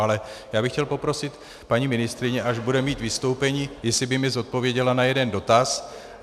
Ale já bych chtěl poprosit paní ministryni, až bude mít vystoupení, jestli by mi odpověděla na jeden dotaz.